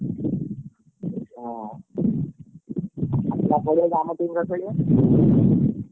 ହଁ ଆସୁନ ପଳେଇଆସୁନ ଆମ team ରେ ଖେଳିବ।